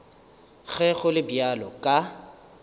ge go le bjalo ka